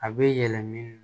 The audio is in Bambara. A bɛ yɛlɛma